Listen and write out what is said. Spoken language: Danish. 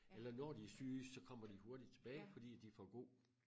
eller når de er syge så kommer de hurtigt tilbage fordi de får god